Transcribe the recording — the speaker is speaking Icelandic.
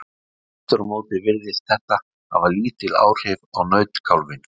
Aftur á móti virðist þetta hafa lítil áhrif á nautkálfinn.